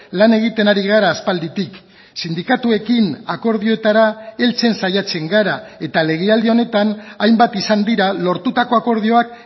lan egiten ari gara aspalditik sindikatuekin akordioetara heltzen saiatzen gara eta legealdi honetan hainbat izan dira lortutako akordioak